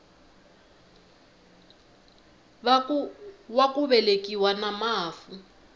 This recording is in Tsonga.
wa ku velekiwa na mafu